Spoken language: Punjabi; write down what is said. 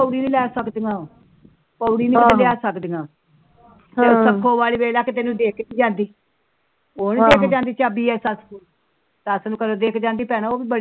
ਪੋੜੀ ਲੈ ਸਕਦੀਆਂ ਪੋੜੀ ਨੂੰ ਲਿਆ ਸਕਦੀਆਂ ਹਮ ਉਹ ਨੀ ਦੇਕੇ ਜਾਂਦੀ ਚਾਬੀ